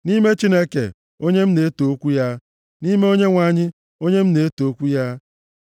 Nʼime Chineke, onye m na-eto okwu ya, nʼime Onyenwe anyị, onye m na-eto okwu ya,